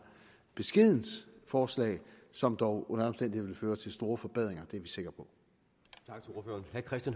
beskedent forslag som dog under alle vil føre til store forbedringer det er vi sikre